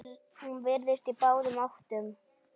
Hún virtist á báðum áttum.